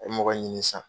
A ye mɔgɔ ɲini sa